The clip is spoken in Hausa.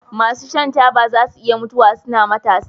masu shan taba zasu iya mutuwa suna matasa